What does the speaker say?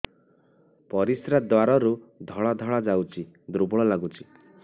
ପରିଶ୍ରା ଦ୍ୱାର ରୁ ଧଳା ଧଳା ଯାଉଚି ଦୁର୍ବଳ ଲାଗୁଚି